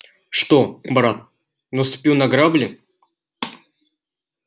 что брат наступил на грабли